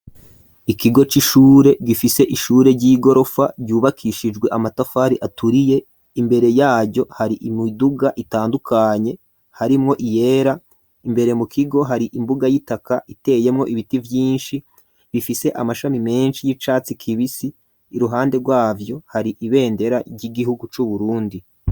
Ikigo c'ishure gifise ishure ry'igorofa ryubakishijwe amatafari aturiye, imbere yaryo hari imiduga itandukanye harimwo iyera, imbere mu kigo hari imbuga y'itaka iteyemwo ibiti vyinshi bifise amashami menshi y'icatsi kibisi, iruhande rwavyo hari ibendera ry'igihugu c'Uburundi.